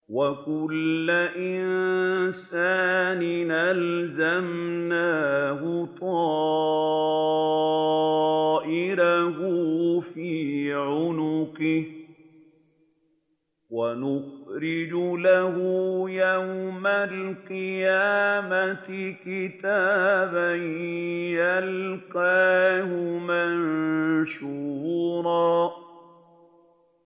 وَكُلَّ إِنسَانٍ أَلْزَمْنَاهُ طَائِرَهُ فِي عُنُقِهِ ۖ وَنُخْرِجُ لَهُ يَوْمَ الْقِيَامَةِ كِتَابًا يَلْقَاهُ مَنشُورًا